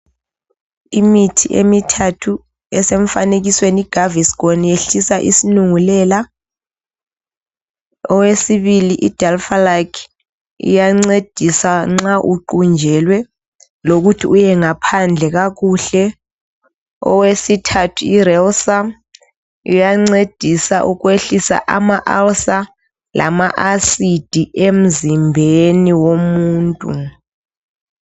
Imithi emithathu esemfanekisweni i gaviscon iyehlisa isilungulela, owesibili i dulphalac iyancedisa nxa uqunjelwe lokuthi uyengaphandle kakuhle. Owesithathu i relcer iyancedisa ukwehlisa ama ulcer lama acid emzimbeni womuntu.